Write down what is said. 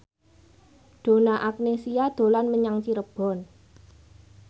Donna Agnesia dolan menyang Cirebon